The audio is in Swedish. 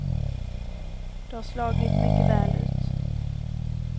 Det har slagit mycket väl ut.